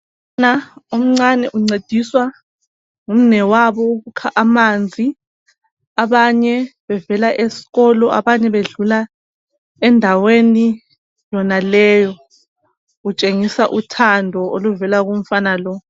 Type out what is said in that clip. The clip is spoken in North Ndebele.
umfana omncani uncediswa ngumnwewabo ukukha amanzi abanye bevela esikolo abanye bedlula endaweni yonaleyo utshengisa uthando oluvela kumfana lo.